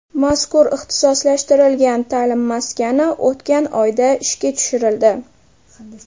Mazkur ixtisoslashtirilgan ta’lim maskani o‘tgan oyda ishga tushirildi.